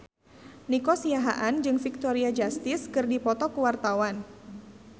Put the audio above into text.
Nico Siahaan jeung Victoria Justice keur dipoto ku wartawan